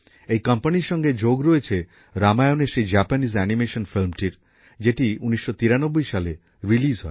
এই কোম্পানির সঙ্গে যোগ রয়েছে রামায়ণের সেই জাপানিজ অ্যানিমেশন ফিল্মটির যেটি ১৯৯৩ সালে রিলিজ হয়